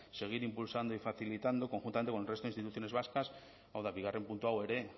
seguir impulsando y facilitando conjuntamente con el resto de instituciones vascas hau da bigarren puntu hau ere